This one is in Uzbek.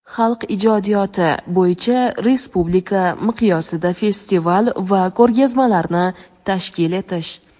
xalq ijodiyoti) bo‘yicha respublika miqyosida festival va ko‘rgazmalarni tashkil etish;.